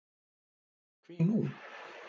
Hví nú?